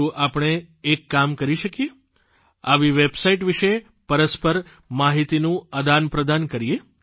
શું આપણે એક કામ કરી શકીએ આવી વેબસાઇટ વિશે પરસ્પર માહિતીનું આદાનપ્રદાન કરીએ